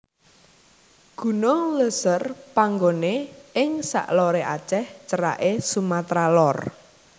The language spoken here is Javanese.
Gunung Léuser panggoné ing sak loré Aceh ceraké Sumatra Lor